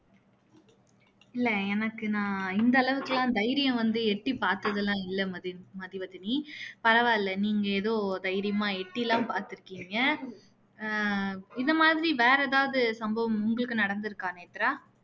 இல்ல எனக்கு நான் இந்த அளவுக்கு எல்லாம் தைரியம் வந்து எட்டி பாத்ததெல்லாம் இல்ல மதி மதிவதனி பரவால்ல நீங்க எதொ தைரியமா எட்டியெல்லாம் பாத்துருக்கீங்க ஆஹ் இந்த மாதிரி வேற எதாவது சம்பவம் நடந்துருக்கா நேத்ரா